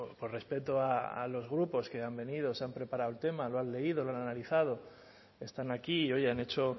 por respeto a los grupos que han venido se han preparado el tema lo han leído lo han analizado están aquí y hoy han hecho